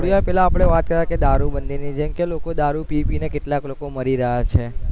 થોડી વાર પેહલા આપડે વાત કરતા હતા કે દારૂ બંધી ની છે કે લોકો દારૂ પી પી ને કેટલા ક લોકો મારી રહ્યા છે